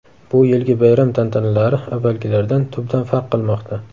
Bu yilgi bayram tantanalari avvalgilardan tubdan farq qilmoqda.